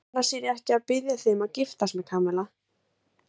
Annars er ég ekki að biðja þig um að giftast mér, Kamilla.